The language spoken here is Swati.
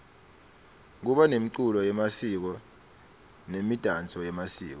kuba nemculo yemasiko nemidanso yemasiko